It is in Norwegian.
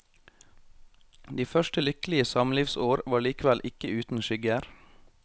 De første lykkelige samlivsår var likevel ikke uten skygger.